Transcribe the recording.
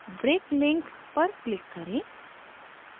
break link पर click करें